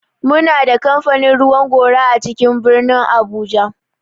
Muna da kamfanin ruwan gora a cikin birnin abuja.